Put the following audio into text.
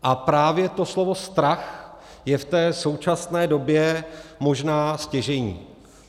A právě to slovo strach je v té současné době možná stěžejní.